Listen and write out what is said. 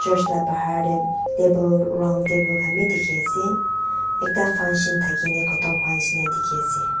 church labahar tae table round table khan bi dikhiase ekta function thakina khotom hwanishi na dikhiase.